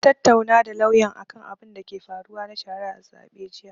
Na tattaunawa da lauyan akan abinda ke faruwa na shari'ar zaɓe jiya.